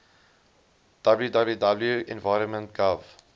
www environment gov